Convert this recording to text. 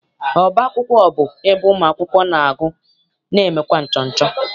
Ọba akwụkwọ bụ ebe ụmụakwụkwọ na- agụ na emekwa nchọcha.